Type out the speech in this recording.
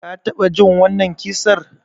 Ka taɓa jin wannan ƙissar?